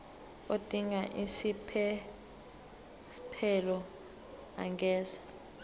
odinga isiphesphelo angenza